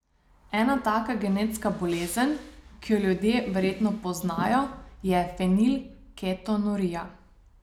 Ena taka genetska bolezen, ki jo ljudje verjetno poznajo, je fenilketonurija.